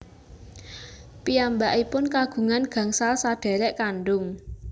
Piyambakipun kagungan gangsal sadhèrèk kandhung